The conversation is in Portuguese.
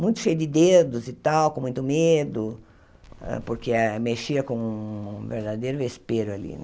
muito cheio de dedos e tal, com muito medo, hã porque eh mexia com um verdadeiro vespero ali.